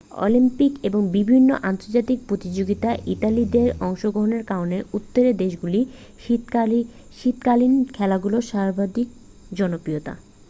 Olympic এবং বিভিন্ন আন্তর্জাতিক প্রতিযোগিতায় ইতালীয়দের অংশগ্রহনের কারণে উত্তরের দেশগুলিতে শীতকালীন খেলাধুলা সর্বাধিক জনপ্রিয়তা